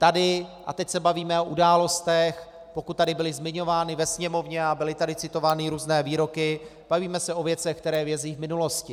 Tady, a teď se bavíme o událostech, pokud tady byly zmiňovány v Sněmovně a byly tady citovány různé výroky, bavíme se o věcech, které vězí v minulosti.